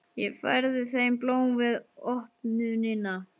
Og ég færði þeim blóm við opnunina.